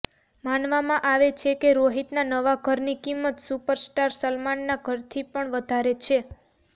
માનવામાં આવે છે કે રોહિતના નવા ઘરની કિંમત સુપરસ્ટાર સલમાનના ઘરથી પણ વધારે છે